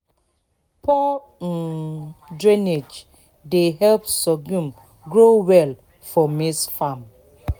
poor um drainage dey help sorghum grow well for maize farm."